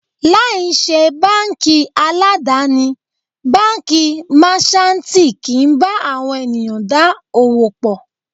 Láì ṣe báńkì aládàni, Báńkì Máṣántìì kì ń bá àwọn ènìyàn dá òwò pọ̀.